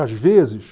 Às vezes...